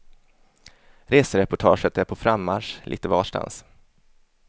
Resereportaget är på frammarsch, lite varstans.